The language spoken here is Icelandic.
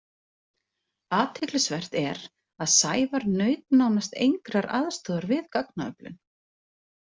Athyglisvert er að Sævar naut nánast engrar aðstoðar við gagnaöflun.